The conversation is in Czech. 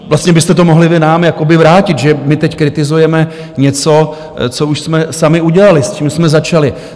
Vlastně byste to mohli vy nám jakoby vrátit, že my teď kritizujeme něco, co už jsme sami udělali, s čím jsme začali.